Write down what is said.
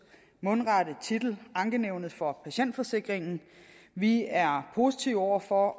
mundrette titel ankenævnet for patientforsikringen vi er positive over for